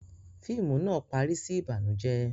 Fíìmù náà parí sí Ìbànùjẹ́